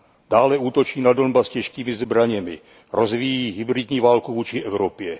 Dále útočí na Donbas těžkými zbraněmi, rozvíjí hybridní válku vůči Evropě.